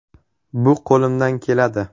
Bu qo‘limdan keladi.